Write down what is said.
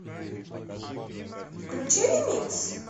включи ремикс